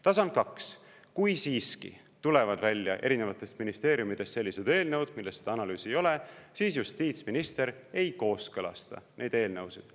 Tasand kaks: kui siiski tulevad välja erinevatest ministeeriumidest sellised eelnõud, milles seda analüüsi ei ole, siis justiitsminister ei kooskõlasta neid eelnõusid.